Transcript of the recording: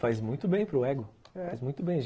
Faz muito bem para o ego, faz muito bem.